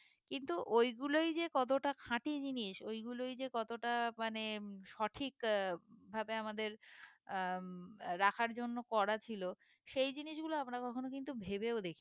কিন্তু ওইগুলোই যে কতটা খাঁটি জিনিস ওইগুলোই যে কতটা মানে সঠিক আহ ভাবে আমাদের আহ উম রাখার জন্য করা ছিল সেই জিনিসগুলো আমরা কখনো কিন্তু ভেবেও দেখিনা